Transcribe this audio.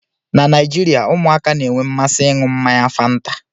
Na Naijirịa, ụmụaka na-enwe mmasị ịñu mmanya fanta